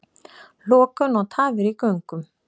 Lokun og tafir í göngum